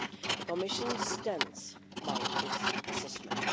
The Commission stands by its assessment.